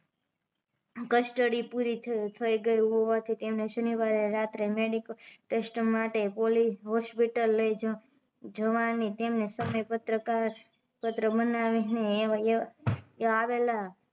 custody પુરી થઇ ગયી હોવાથી તેમને શનીવારે રાત્રે મેડિકલટેસ્ટ માટે પોલીસ હોસ્પિટલ લઈ જવાની સમયપત્રક પત્ર બનાવી એ વા આવેલા